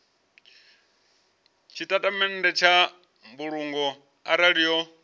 tshitatamennde tsha mbulungo arali yo